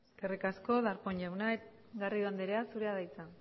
eskerrik asko darpón jauna garrido andrea zurea da hitza